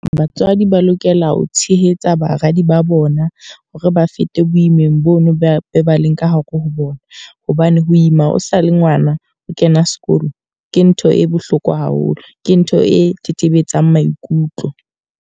Batswadi ba lokela ho tshehetsa baradi ba bona. Hore ba fete boimeng bono be ba leng ka hare ho bona. Hobane ho ima o sa le ngwana, o kena sekolo. Ke ntho e bohloko haholo, ke ntho e tetebetsang maikutlo.